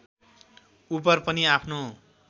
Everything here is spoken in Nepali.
उपर पनि आफ्नो